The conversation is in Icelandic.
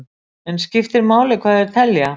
En skiptir máli hvað þeir telja?